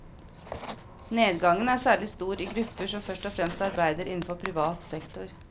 Nedgangen er særlig stor i grupper som først og fremst arbeider innenfor privat sektor.